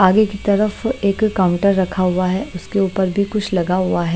आगे की तरफ एक काउंटर रखा हुआ है उसके ऊपर भी कुछ लगा हुआ है।